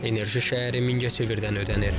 Enerji şəhəri Mingəçevirdən ödənilir.